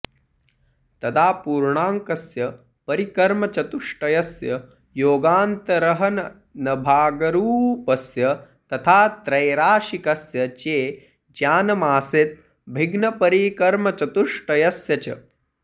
तदा पूर्णाङ्कस्य परिकर्मचतुष्टयस्य योगान्तरहननभागरूपस्य तथा त्रैराशिकस्य चे ज्ञानमासीत् भिग्नपरिकर्मचतुष्टयस्य च